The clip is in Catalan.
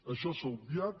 això s’ha obviat